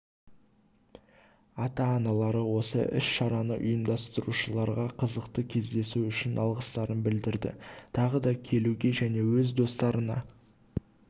ата-аналары осы іс-шараны ұйымдастырушыларға қызықты кездесу үшін алғыстарын білдірді тағы да келуге және өз достарына